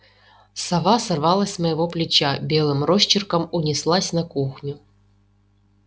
сова сорвалась с моего плеча белым росчерком унеслась на кухню